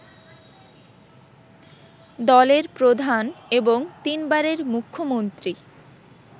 দলের প্রধান এবং তিনবারের মুখ্যমন্ত্রী